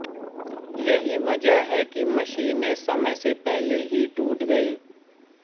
यही वजह है कि मशीनें समय से पहले ही टूट गई